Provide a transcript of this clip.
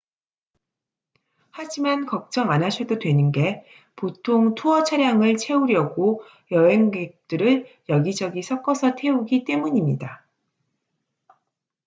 하지만 걱정 안 하셔도 되는 게 보통 투어 차량을 채우려고 여행객들을 여기저기 섞어서 태우기 때문입니다